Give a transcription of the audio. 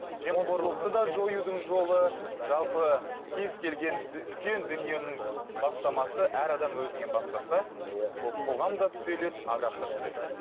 жемқорлықты да жоюдың жолы жалпы кез келген үлкен дүниенің бастамасы әр адам өзінен бастаса иә ол қоғам да түзеледі адам да түзеледі